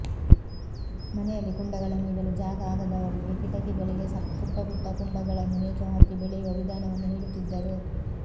ಮನೆಯಲ್ಲಿ ಕುಂಡಗಳನ್ನು ಇಡಲು ಜಾಗ ಆಗದವರಿಗೆ ಕಿಟಕಿಗಳಿಗೆ ಪುಟ್ಟ ಪುಟ್ಟ ಕುಂಡಗಳನ್ನು ನೇತುಹಾಕಿ ಬೆಳೆಯುವ ವಿಧಾನವನ್ನು ಹೇಳುತ್ತಿದ್ದರು